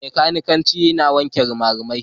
Mai kanikanci yana wanke rimarimai.